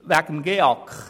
Zum GEAK